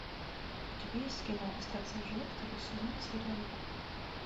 у тебя есть кино остаться в живых второй сезон серия два